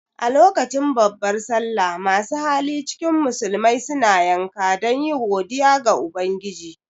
A lokacin babbar sallah masu hali cikin musulmai suna yanka dan yi godiya ga ubangiji